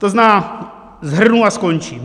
To znamená, shrnu a skončím.